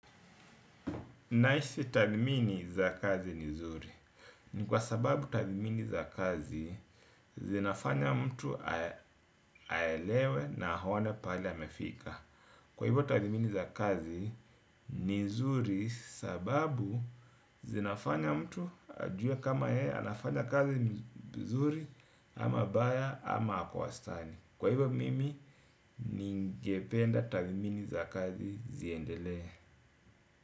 Naisi tadmini za kazi ni nzuri. Ni kwa sababu tadmini za kazi zinafanya mtu aelewe na aone pale amefika. Kwa hivyo tadmini za kazi ni nzuri sababu zinafanya mtu ajue kama yeye anafanya kazi nzuri ama baya ama akowastani. Kwa hivyo mimi ningependa tadmini za kazi ziendele.